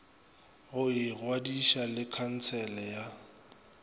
go ingwadiša le khansele ya